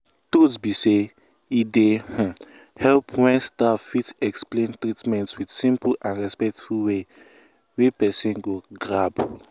truth be say e dey um help when staff fit explain treatment with simple and respectful way wey person go grab.